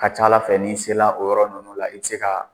A ka ca Ala fɛ n'i sera o yɔrɔ ninnu la, i tɛ se ka